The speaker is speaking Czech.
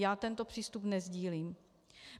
Já tento přístup nesdílím.